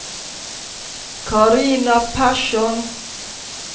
Carina Persson